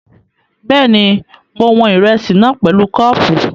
Bẹ́ẹ̀ni, mo wọn ìrẹsì náà pẹ̀lú kọ́ọ̀pù